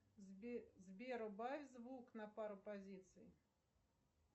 сбер убавь звук на пару позиций